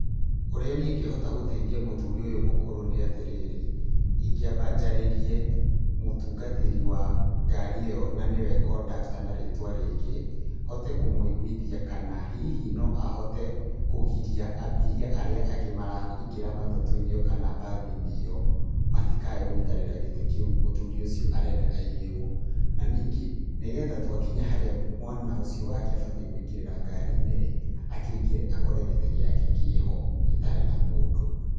Ũrĩa niĩ ingĩhota gũteithia mũthũri ũyũ mũkũrũ nĩ atĩrĩrĩ, ingĩamba njarĩrie mũtungatĩri wa ngari ĩyo na niwe kondakta na rĩtwa rĩngĩ hote kũmũigũithia kana hihi no ahote kũgiria ambiria arĩa angĩ maraingĩra matatũinĩ kana mbathinĩ ĩyo matikae gũikarĩra gĩtĩ kĩu mũthũri ũcio arenda aigĩrwo, na ningĩ twakinya harĩa mwana ũcio wake akũingagĩrĩra ngarinĩ akĩingĩre akore gĩtĩ gĩake kĩho gĩtarĩ na mũndũ.